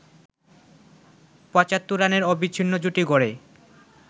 ৭৫ রানের অবিচ্ছিন্ন জুটি গড়ে